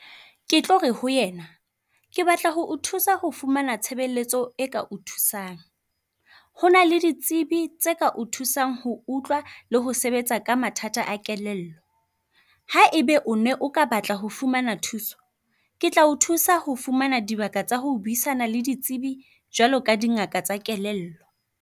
Ke tlo re ho yena ke batla ho o thusa ho fumana tshebeletso e ka o thusang. Hona le ditsebi tsa ka o thusang ho utlwa le ho sebetsa ka mathata a kelello. Ha ebe o ne o ka batla ho fumana thuso, ke tlao thusa ho fumana dibaka tsa ho buisana le ditsibi, jwalo ka dingaka tsa kelello.